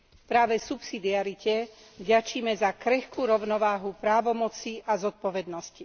Práve subsidiarite vďačíme za krehkú rovnováhu právomocí a zodpovednosti.